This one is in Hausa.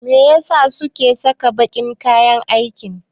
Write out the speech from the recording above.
Me ya sa suke saka baƙin kayan aiki?